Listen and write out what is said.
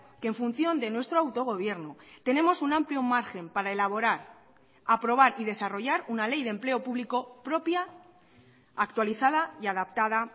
que en función de nuestro autogobierno tenemos un amplio margen para elaborar aprobar y desarrollar una ley de empleo público propia actualizada y adaptada